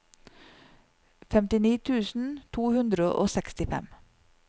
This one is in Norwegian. femtini tusen to hundre og sekstifem